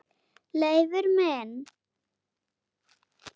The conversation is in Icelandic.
Leifur minn.